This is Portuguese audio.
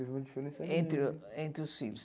Entre o entre os filhos.